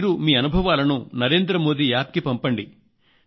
మీరు మీ అనుభవాలను నరేంద్ర మోదీ యాప్ కు పంపండి